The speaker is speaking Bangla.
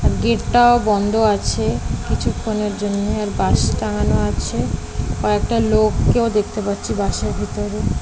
গেট -টাও বন্ধ আছে কিছুক্ষণের জন্য আর বাস টাঙানো আছে আর কয়েকটা লোককেও দেখতে পাচ্ছি বাস -এর ভিতর।